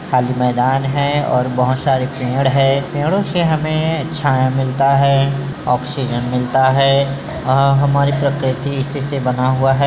खाली मैदान है और बहुत सारे पेड़ है पेड़ों से हमें छाया मिलता है आक्सिजन मिलता है अ-हमारे प्रकृति इसी से बना हुआ है।